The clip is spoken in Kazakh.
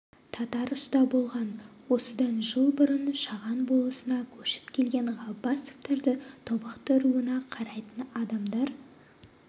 татар ұста болған осыдан жыл бұрын шаған болысына көшіп келген ғаббасовтарды тобықты руына қарайтын адамдар